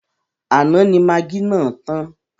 Àná ni magí náà tàn.